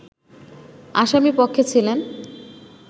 আসামি পক্ষে ছিলেন